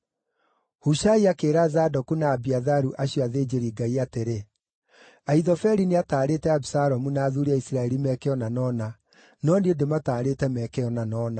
Hushai akĩĩra Zadoku na Abiatharu, acio athĩnjĩri-Ngai, atĩrĩ, “Ahithofeli nĩataarĩte Abisalomu na athuuri a Isiraeli meeke ũna na ũna, no niĩ ndĩmataarĩte meke ũna na ũna.